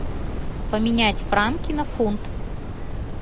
поменять франки на фунт